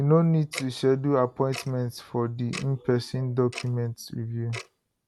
you no need to schedule appointment for di inperson document review